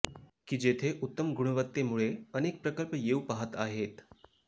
कि जेथे उत्तम गुणवत्तेमुळे अनेक प्रकल्प येऊ पाहत आहेत